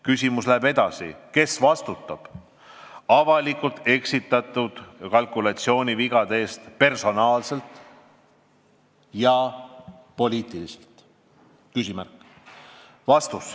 " Küsimus läheb edasi: kes vastutab avalikkust eksitanud kalkulatsioonivigade eest personaalselt ja poliitiliselt?